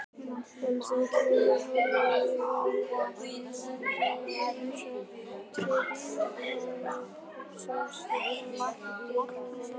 En þá kemur hann aðvífandi eins og tryllt ljón og sest klofvega ofan á hana.